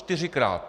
Čtyřikrát!